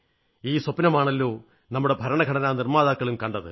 ഈ സ്വപ്നമാണല്ലോ നമ്മുടെ ഭരണഘടനാ നിർമ്മാതാക്കളും കണ്ടത്